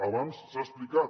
abans s’ha explicat